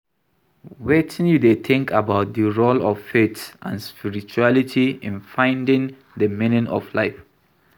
wetin you dey think about di role of faith and spirituality in finding di meaning of life.